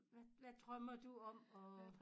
Hvad hvad drømmer du om at